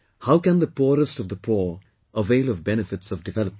How can the poorest of the poor avail of benefits of development